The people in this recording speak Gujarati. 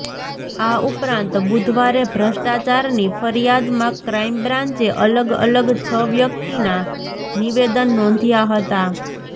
આ ઉપરાંત બુધવારે ભ્રષ્ટાચારની ફરિયાદમાં ક્રાઈમ બ્રાન્ચે અલગ અલગ છ વ્યક્તિના નિવેદન નોંધ્યા હતા